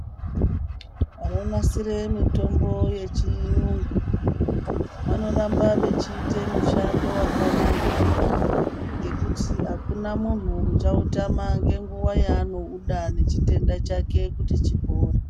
Vanonasire mitombo yechiyungu vanoramba vechiite mushando wakanaka, ngekuti akuna munhu uchautama ngenguwa yaanouda, nechitenda chake kuti chipore.